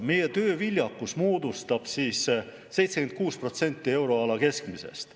Meie tööviljakus moodustab 76% euroala keskmisest.